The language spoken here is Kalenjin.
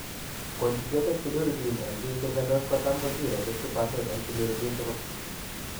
Conjugated bilirubin en bik che miandos kotam kosire 50% en bilirubin tugul